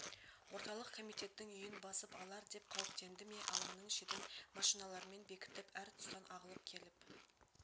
орталық комитеттің үйін басып алар деп қауіптенді ме алаңның шетін машиналармен бекітіп әр тұстан ағылып келіп